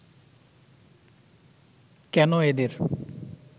কেন এদের